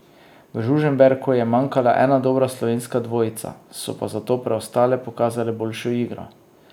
V Žužemberku je manjkala ena dobra slovenska dvojica, so pa zato preostale pokazale boljšo igro.